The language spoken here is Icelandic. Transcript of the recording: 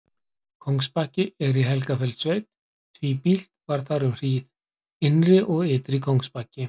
Kóngsbakki er í Helgafellssveit, tvíbýlt var þar um hríð: Innri- og Ytri-Kóngsbakki.